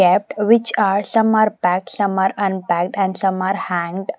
which are some are packed some are unpacked and some are hanged.